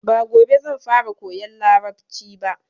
Ba gobe zan fara koyan Larabci ba.